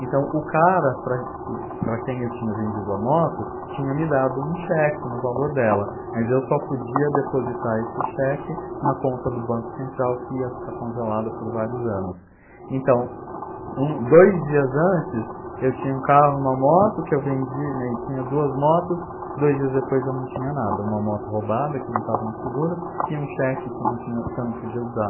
então o cara para que para quem eu tinha vendido a moto tinha me dado um cheque no valor dela mas eu só podia depositar esse cheque na conta do banco central que ia ficar congelada por vários anos então um dois dias antes eu tinha um carro uma moto que eu vendi, né, e tinha duas motos dois dias depois eu não tinha nada uma moto roubada que não estava no seguro e um cheque que não tinha que eu não podia usar